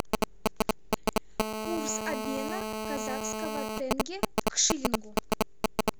курс обмена казахского тенге к шиллингу